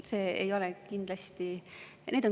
See ei ole kindlasti …